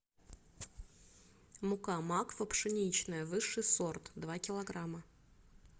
мука макфа пшеничная высший сорт два килограмма